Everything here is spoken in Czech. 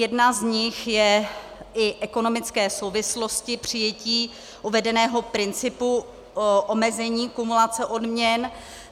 Jedna z nich jsou i ekonomické souvislosti přijetí uvedeného principu omezení kumulace odměn.